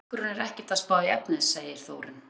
En kærleikurinn er ekkert að spá í efnið, segir Þórunn.